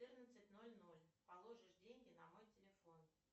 четырнадцать ноль ноль положишь деньги на мой телефон